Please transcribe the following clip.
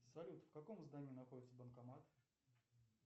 салют в каком здании находится банкомат